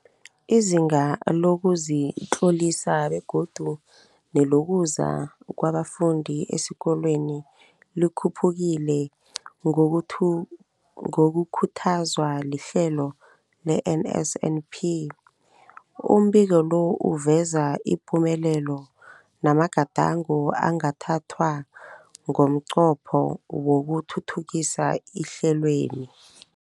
Izinga lokuzitlolisa begodu nelokuza kwabafundi esikolweni likhuphukile ngokukhuthazwa lihlelo le-NSNP. Umbiko lo uveza ipumelelo namagadango angathathwa ngomnqopho wokuthuthukisa ihlelweli.